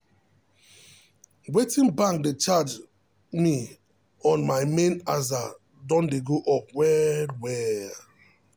wetin bank dey charge me on my main aza don dey go up well well.